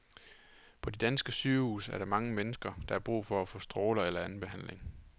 På de danske sygehuse er der mange mennesker, der har brug for at få stråler eller anden behandling.